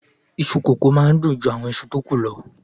Iṣu kókò máa n dun ju àwọn ìṣù tó ku lọ